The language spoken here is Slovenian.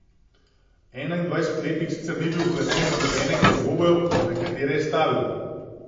Enaindvajsetletnik sicer ni bil vpleten v nobenega od dvobojev, na katere je stavil.